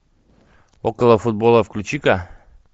около футбола включи ка